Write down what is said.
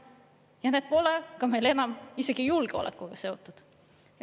Ja need pole meil enam isegi julgeolekuga seotud.